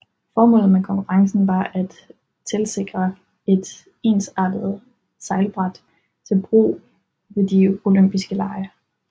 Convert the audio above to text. Formålet med konkurrencen var at tilsikre et ensartet sejlbræt til brug ved de olympiske lege